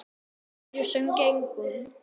Á hverju sem gengur.